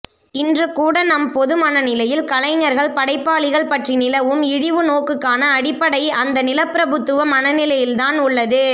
இன்றுகூட நம் பொதுமனநிலையில் கலைஞர்கள் படைப்பாளிகள் பற்றி நிலவும் இழிவு நோக்குக்கான அடிப்படை அந்த நிலப்பிரபுத்துவ மனநிலையில்தான் உள்ளது